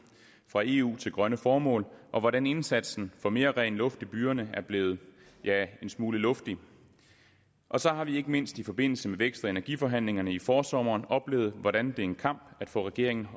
fra eu til grønne formål og hvordan indsatsen for mere ren luft i byerne er blevet ja en smule luftig og så har vi ikke mindst i forbindelse med vækst og energiforhandlingerne i forsommeren oplevet hvordan det er en kamp at få regeringen